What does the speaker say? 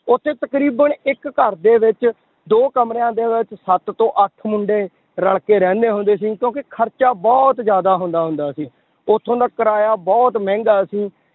ਉੱਥੇ ਤਕਰੀਬਨ ਇੱਕ ਘਰਦੇ ਵਿੱਚ ਦੋ ਕਮਰਿਆਂ ਦੇ ਵਿੱਚ ਸੱਤ ਤੋਂ ਅੱਠ ਮੁੰਡੇ ਰਲ ਕੇ ਰਹਿੰਦੇ ਹੁੰਦੇ ਸੀ ਕਿਉਂਕਿ ਖਰਚਾ ਬਹੁਤ ਜ਼ਿਆਦਾ ਹੁੰਦਾ ਹੁੰਦਾ ਸੀ, ਉੱਥੋਂ ਦਾ ਕਿਰਾਇਆ ਬਹੁਤ ਮਹਿੰਗਾ ਸੀ